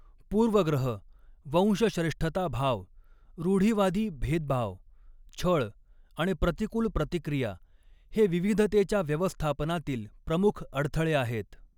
पूर्वग्रह वंशश्रेष्ठताभाव रूढीवादी भेदभाव छळ आणि प्रतिकूल प्रतिक्रिया हे विविधतेच्या व्यवस्थापनातील प्रमुख अडथळे आहेत.